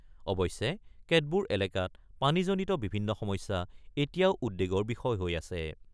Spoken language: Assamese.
অৱশ্যে, কেতবোৰ এলেকাত পানীজনিত বিভিন্ন সমস্যা এতিয়াও উদ্বেগৰ বিষয় হৈ আছে।